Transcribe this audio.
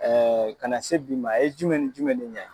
ka na se bi ma , e ye jumɛn ni jumɛn de ɲa i ma?